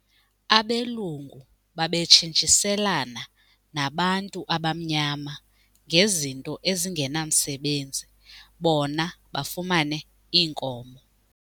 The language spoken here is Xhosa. Abelungu babetshintshiselana nabantu abamnyama ngezinto ezingenamsebenzi bona bafumane iinkomo.